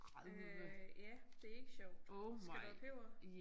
Øh ja det ikke sjovt skal du have peber?